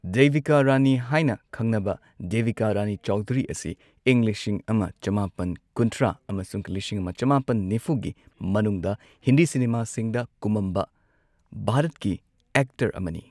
ꯗꯦꯕꯤꯀꯥ ꯔꯥꯅꯤ ꯍꯥꯢꯅ ꯈꯪꯅꯕ ꯗꯦꯕꯤꯀꯥ ꯔꯥꯅꯤ ꯆꯧꯙꯨꯔꯤ ꯑꯁꯤ ꯏꯪ ꯂꯤꯁꯤꯡ ꯑꯃ ꯆꯃꯥꯄꯟ ꯀꯨꯟꯊ꯭ꯔꯥ ꯑꯃꯁꯨꯡ ꯂꯤꯁꯤꯡ ꯑꯃ ꯆꯃꯥꯄꯟ ꯅꯤꯐꯨꯒꯤ ꯃꯅꯨꯡꯗ ꯍꯤꯟꯗꯤ ꯁꯤꯅꯦꯃꯥꯁꯤꯡꯗ ꯀꯨꯝꯃꯝꯕ ꯚꯥꯔꯠꯀꯤ ꯑꯦꯛꯇꯔ ꯑꯃꯅꯤ꯫